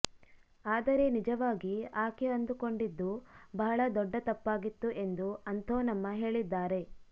ಆದರೆ ನಿಜವಾಗಿ ಆಕೆ ಅಂದುಕೊಂಡಿದ್ದು ಬಹಳ ದೊಡ್ಡ ತಪ್ಪಾಗಿತ್ತು ಎಂದು ಅಂಥೋನಮ್ಮ ಹೇಳಿದ್ದಾರೆ